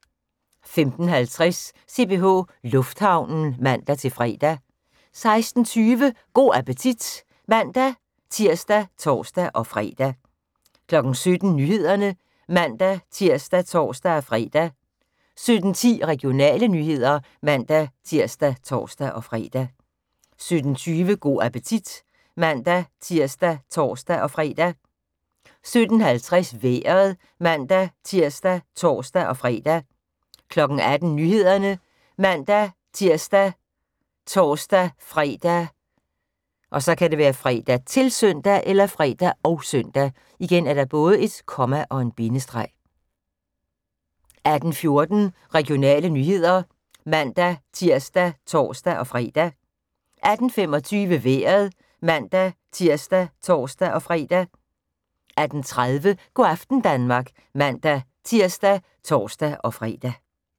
15:50: CPH Lufthavnen (man-fre) 16:20: Go' appetit (man-tir og tor-fre) 17:00: Nyhederne (man-tir og tor-fre) 17:10: Regionale nyheder (man-tir og tor-fre) 17:20: Go' appetit (man-tir og tor-fre) 17:50: Vejret (man-tir og tor-fre) 18:00: Nyhederne ( man-tir, tor-fre, -søn) 18:14: Regionale nyheder (man-tir og tor-fre) 18:25: Vejret (man-tir og tor-fre) 18:30: Go' aften Danmark (man-tir og tor-fre)